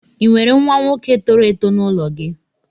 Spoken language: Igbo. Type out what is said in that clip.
Ị nwere nwa nwoke toro èto n'ụlọ gị